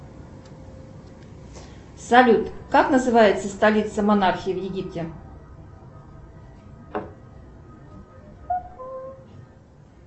салют как называется столица монархии в египте